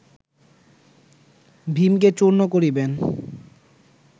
ভীমকে চূর্ণ করিবেন